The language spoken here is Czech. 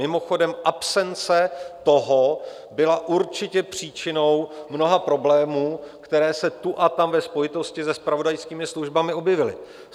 Mimochodem, absence toho byla určitě příčinou mnoha problémů, které se tu a tam ve spojitosti se zpravodajskými službami objevily.